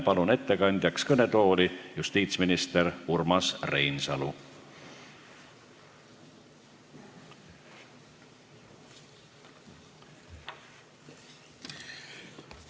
Palun ettekandjaks kõnetooli justiitsminister Urmas Reinsalu!